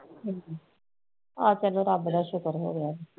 ਠੀਕ ਹੈ ਹਾਂ ਚੱਲੋ ਰੱਬ ਦਾ ਸ਼ੁਕਰ ਹੋਇਆ